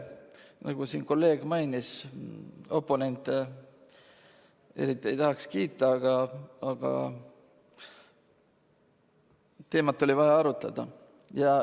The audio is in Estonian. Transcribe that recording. Nagu siin kolleeg mainis, siis oponente eriti ei tahaks kiita, aga teemat oli vaja arutada.